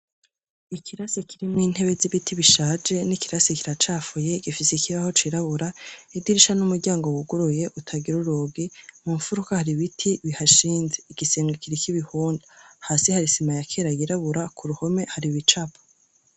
Ikirasi kirimwo intebe z'ibiti bishaje n'ikirasi kiracafuye gifisikibaho cirabura idirisha n'umuryango wuguruye utagira urogi mu mfuruka hari ibiti bihashinze igisenge kiri k'ibihunda hasi harisima yakera yirabura ku ruhome hari ibicapa.